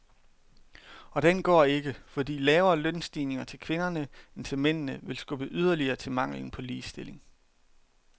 Og den går ikke, fordi lavere lønstigninger til kvinderne end til mændene vil skubbe yderligere til manglen på ligestilling.